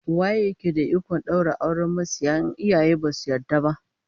Waye yake da ikon daura auren masiya in iyaye basu yarda ba?